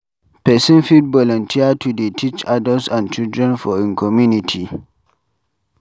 Person fit volunteer to dey teach adults and children for im community